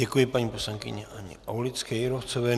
Děkuji paní poslankyni Haně Aulické Jírovcové.